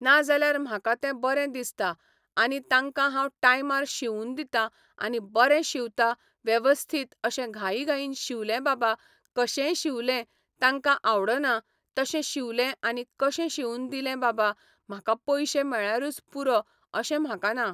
ना ज्याल्यार म्हाका ते बरें दिसता आनी तांकां हांव टायमार शिवून दितां आनी बरें शिंवतां वेवस्थीत अशे घाई घाईन शिंवले बाबा कशेय शिंवले तांकां आवडना तशें शिंवलें आनी कशें शिंवून दिले बाबा म्हाका पयशे मेळल्यारूच पुरो अशे म्हाका ना.